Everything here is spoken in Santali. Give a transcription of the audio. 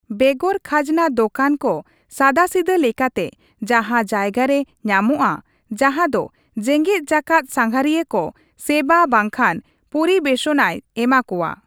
ᱵᱮᱜᱚᱨ ᱠᱷᱟᱡᱱᱟ ᱫᱚᱠᱟᱱ ᱠᱚ ᱥᱟᱫᱟᱥᱤᱫᱟᱹ ᱞᱮᱠᱟᱛᱮ ᱡᱟᱦᱟᱸ ᱡᱟᱭᱜᱟ ᱨᱮ ᱧᱟᱢᱚᱜᱼᱟ ᱡᱟᱦᱟᱸ ᱫᱚ ᱡᱮᱜᱮᱫ ᱡᱟᱠᱟᱛ ᱥᱟᱸᱜᱷᱟᱨᱤᱭᱟᱹ ᱠᱚ ᱥᱮᱵᱟ ᱵᱟᱝᱠᱷᱟᱱ ᱯᱚᱨᱤᱵᱮᱥᱚᱱᱟᱭ ᱮᱢᱟ ᱠᱚᱣᱟ ᱾